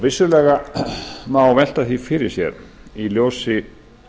vissulega má velta því fyrir sér í ljósi